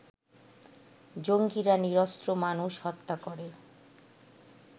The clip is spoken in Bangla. জঙ্গিরা নিরস্ত্র মানুষ হত্যা করে